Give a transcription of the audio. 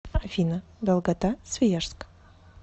афина долгота свияжск